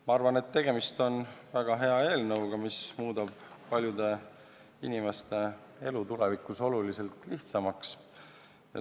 Ma arvan, et tegemist on väga hea eelnõuga, mis muudab paljude inimeste elu tulevikus oluliselt lihtsamaks.